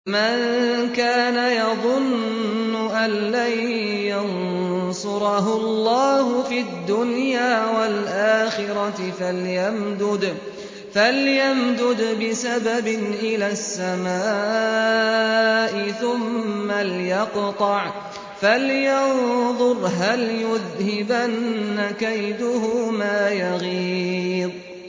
مَن كَانَ يَظُنُّ أَن لَّن يَنصُرَهُ اللَّهُ فِي الدُّنْيَا وَالْآخِرَةِ فَلْيَمْدُدْ بِسَبَبٍ إِلَى السَّمَاءِ ثُمَّ لْيَقْطَعْ فَلْيَنظُرْ هَلْ يُذْهِبَنَّ كَيْدُهُ مَا يَغِيظُ